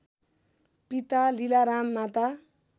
पिता लीलाराम माता